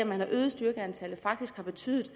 man har øget styrkeantallet faktisk har betydet